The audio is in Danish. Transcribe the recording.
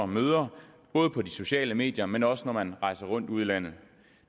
møder både på de sociale medier men også når man rejser rundt ude i landet